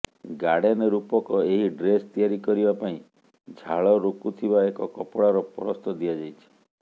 garden ରୂପକ ଏହି dress ତିଆରି କରିବା ପାଇଁ ଝାଳ ରୋକୁଥିବା ଏକ କପଡ଼ାର ପରସ୍ତ ଦିଆଯାଇଛି